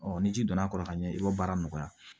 ni ji donna a kɔrɔ ka ɲɛ i b'o baara nɔgɔya